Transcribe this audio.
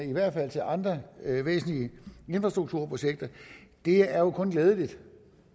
i hvert fald til andre væsentlige infrastrukturprojekter er jo kun glædeligt